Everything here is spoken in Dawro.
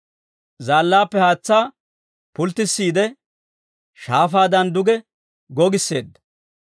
Zaallaappe haatsaa pulttissiide, shaafaadan duge gogisseedda.